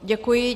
Děkuji.